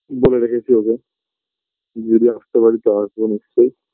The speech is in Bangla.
বলে রেখেছি ওকে যদি আসতে পারি তো আসবো নিশ্চয়ই